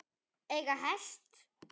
Eiga hest.